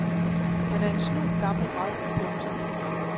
Han er en snu gammel rad. punktum